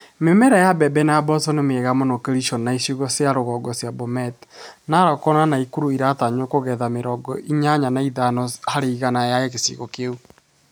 Mĩmera ya mbembe na mboco nĩ mĩega mũno Kericho na icigo cia igũrũ cia Bomet, Narok na Nakuru na ĩratanywo kũgetha mĩrongo inyanya na itano harĩ igana ya gĩcigo kĩu.